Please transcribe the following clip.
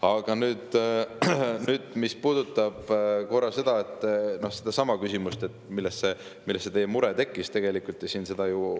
Aga nüüd, mis puudutab sedasama küsimust, millest see teie mure tekkis.